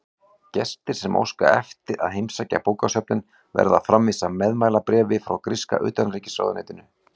Gestir sem óska eftir að heimsækja bókasöfnin verða að framvísa meðmælabréfi frá gríska utanríkisráðuneytinu.